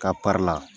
K'a la